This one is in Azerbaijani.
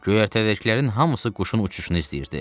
Göyərtədəkilərin hamısı quşun uçuşunu istəyirdi.